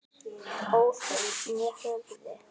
óð þau né höfðu